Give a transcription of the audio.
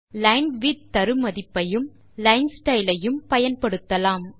linewidth தருமதிப்பையும் line style ஐயும் பயன்படுத்தலாம்